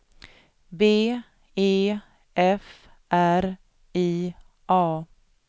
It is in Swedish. B E F R I A